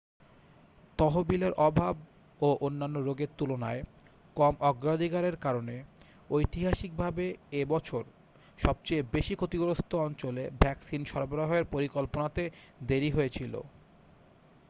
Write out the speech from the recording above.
তহবিলের অভাব ও অন্যান্য রোগের তুলনায় কম অগ্রাধিকারের কারণে ঐতিহাসিকভাবে এ বছর সবচেয়ে বেশি ক্ষতিগ্রস্থ অঞ্চলে ভ্যাকসিন সরবরাহের পরিকল্পনাতে দেরি হয়েছিল